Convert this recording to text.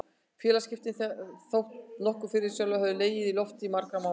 Félagaskiptin þóttu nokkuð fyrirsjáanleg og höfðu legið í loftinu í marga mánuði.